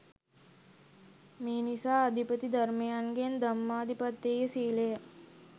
මෙනිසා අධිපති ධර්මයන්ගෙන්, ධම්මාධිපතෙය්‍ය සීලය